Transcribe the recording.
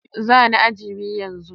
Zani aji biyu yanzu.